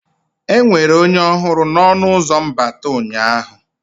Enwere onye ọhụrụ na ọnụ ụzọ mbata ụnyaahụ?